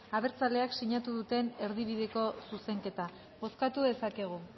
abertzaleak sinatu duten erdibideko zuzenketa bozkatu dezakegu